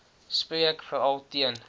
spreek veral teen